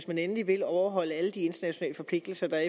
man endelig vil overholde alle de internationale forpligtelser der